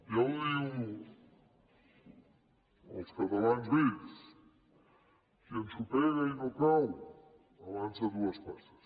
ja ho diuen els catalans vells qui ensopega i no cau avança dues passes